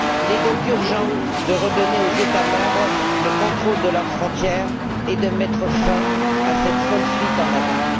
Il est donc urgent de redonner aux États membres le contrôle de leurs frontières et de mettre fin à cette folle fuite en avant.